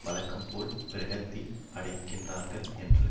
வழக்கம்போல விரக்தி அடைகின்றார்கள் என்று